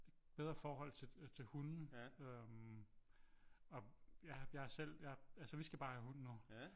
Bedre forhold til hunde øh og ja jeg har selv altså vi skal bare have hund nu